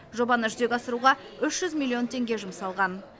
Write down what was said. жобаны жүзеге асыруға үш жүз миллион теңге жұмсалған